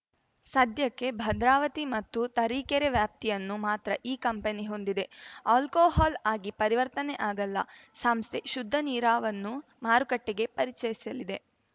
ಸದ್ಯಕ್ಕೆ ಭದ್ರಾವತಿ ಮತ್ತು ತರೀಕೆರೆ ವ್ಯಾಪ್ತಿಯನ್ನು ಮಾತ್ರ ಈ ಕಂಪನಿ ಹೊಂದಿದೆ ಆಲ್ಕೋಹಾಲ್‌ ಆಗಿ ಪರಿವರ್ತನೆ ಆಗಲ್ಲ ಸಂಸ್ಥೆ ಶುದ್ಧ ನೀರಾವನ್ನು ಮಾರುಕಟ್ಟೆಗೆ ಪರಿಚಯಿಸಲಿದೆ